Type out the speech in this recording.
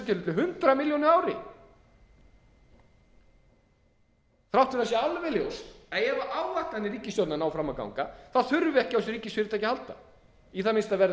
tilfelli hundrað milljónir á ári þrátt fyrir að það sé alveg ljóst að ef áætlanir ríkisstjórnarinnar ná fram að ganga þá þurfum við ekki á þessu ríkisfyrirtæki að halda í það minnsta verður